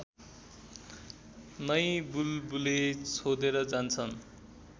नै बुलबुले छोडेर जान्छन्